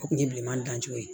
O kun ye bileman dancogo ye